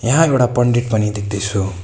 यहाँ एउटा पण्डित पनि देख्दैछु।